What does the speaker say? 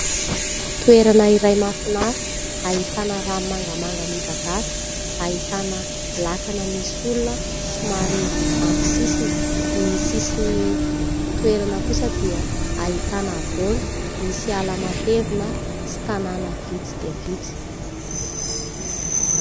Toerana iray mahafinaritra, ahitana rano mangamanga midadasika, ahitana lakana misy olona somary amin'ny sisiny. Ny sisin'ny toerana kosa dia ahitana havoana, misy ala matevina sy tanàna vitsy dia vitsy.